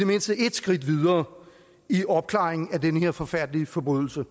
mindste ét skridt videre i opklaringen af den her forfærdelige forbrydelse